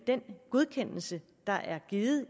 godkendelse der er givet